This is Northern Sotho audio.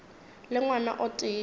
le ngwana o tee yo